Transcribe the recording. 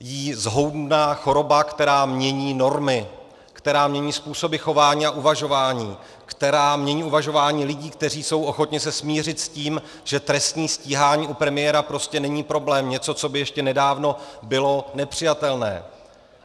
jí zhoubná choroba, která mění normy, která mění způsoby chování a uvažování, která mění uvažování lidí, kteří jsou ochotni se smířit s tím, že trestní stíhání u premiéra prostě není problém, něco, co by ještě nedávno bylo nepřijatelné.